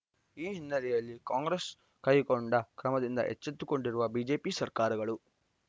ಈ ಹಿನ್ನೆಲೆಯಲ್ಲಿ ಕಾಂಗ್ರೆಸ್‌ ಕೈಗೊಂಡ ಕ್ರಮದಿಂದ ಎಚ್ಚೆತ್ತುಕೊಂಡಿರುವ ಬಿಜೆಪಿ ಸರ್ಕಾರಗಳು